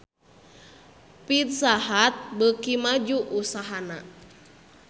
Pizza Hut beuki maju usahana